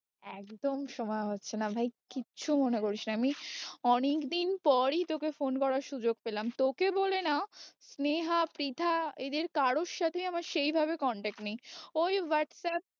একদম সময় হচ্ছে না ভাই কিছু মনে করিস না আমি অনেকদিন পরই তোকে phone করার সুযোগ পেলাম, তোকে বলে না স্নেহা পৃথা এদের কারোর সাথেই আমার সেই ভাবে contact নেই ওই whatsapp